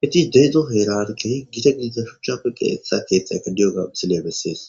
hitis deezo heerankehi gite gidida shuchchafe qe etsa keethxa eka diyoga misile bessees